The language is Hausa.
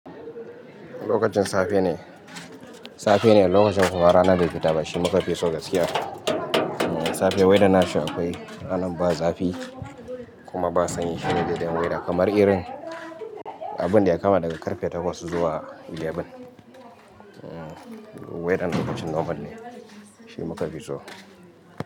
Lokacin safe ne, safe ne lokacin kuma rana bai fita ba shi muka fi so gaskiya. Safe waina na shi akwai, ranan ba zafi kuma ba sanyi. Shi ne daidan weather kamar irin abin da ya kama daga karfe takwas zuwa goma. Weathern lokacin normal ne shi muka fi so.